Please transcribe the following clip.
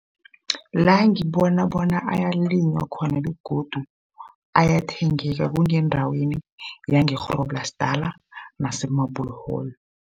La ngibona bona ayalinywa khona begodu ayathengeka kungendaweni yange-Groblersdal nase-Marble hall.